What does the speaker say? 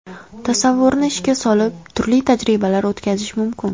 Tasavvurni ishga solib, turli tajribalar o‘tkazish mumkin.